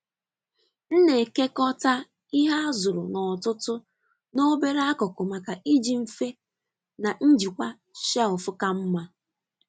M na-ekekọta ihe a zụrụ n’ọtụtù n’obere akụkụ maka iji mfe na njikwa shelf ka mma.